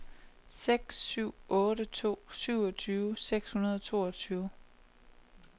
seks syv otte to syvogtyve seks hundrede og toogtyve